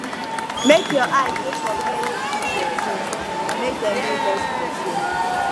make your eye dey for where you keep your things make dem no lost for there